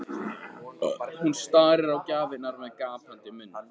Hún starir á gjafirnar með gapandi munn.